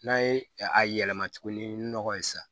N'a ye a yɛlɛma tuguni nɔgɔ ye sa